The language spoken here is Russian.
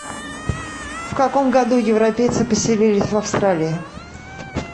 в каком году европейцы поселились в австралии